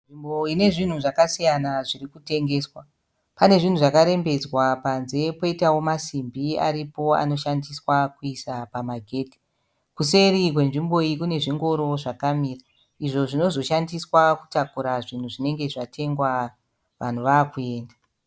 Nzvimbo ine zvinhu zvakasiyana zviri kutengeswa .Pane zvinhu zakarembedzwa panze, poitawo masimbi aripo anooshandswa kuisa pama ghedhe. kuseri kwenzvimbo iyi kune zvingoro zvakamira, izvo zvinozoshandiswa kutakura zvinhu zvinenge zvatengwa vanhu vakuenda .